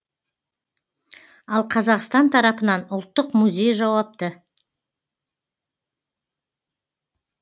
ал қазақстан тарапынан ұлттық музей жауапты